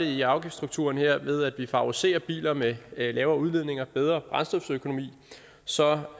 i afgiftsstrukturen her er det ved at vi favoriserer biler med lavere udledning og bedre brændstoføkonomi så